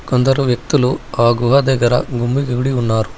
కొందరు వ్యక్తులు ఆ గుహ దగ్గర గుమ్మిగూడి ఉన్నారు.